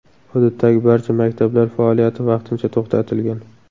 Hududdagi barcha maktablar faoliyati vaqtincha to‘xtatilgan.